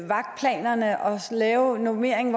vagtplanerne og lave normeringen